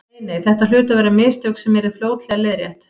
Nei, nei, þetta hlutu að vera mistök sem yrðu fljótlega leiðrétt.